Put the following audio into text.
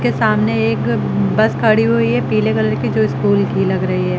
के सामने एक बस खड़ी हुई है पीले कलर की जो स्कूल की लग रही है।